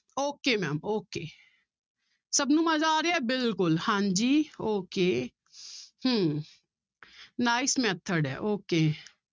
Okay ma'am okay ਸਭ ਨੂੰ ਮਜ਼ਾ ਆ ਰਿਹਾ ਹੈ ਬਿਲਕੁਲ ਹਾਂਜੀ okay ਹਮ nice method ਹੈ okay